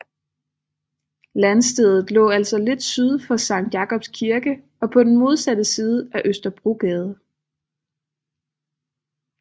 Landstedet lå altså lidt syd for Sankt Jakobs Kirke og på den modsatte side af Østerbrogade